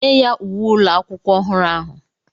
nye ya uwe ụlọ akwụkwọ ọhụrụ ahụ